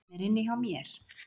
Hún er inni hjá mér.